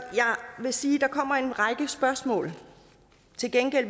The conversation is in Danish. vil sige at der kommer en række spørgsmål til gengæld